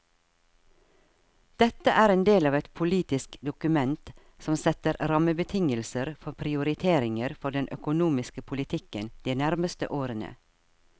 Dette er en del av et politisk dokument som setter rammebetingelser for prioriteringer for den økonomiske politikken de nærmeste årene.